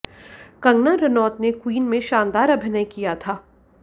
कंगना रनौत ने क्वीन में शानदार अभिनय किया था